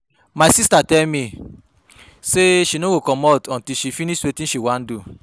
My sister tell me say she no go comot till she finish wetin she wan do